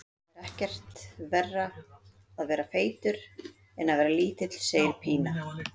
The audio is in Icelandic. Það er ekkert verra að vera feitur en að vera lítill, segir Pína.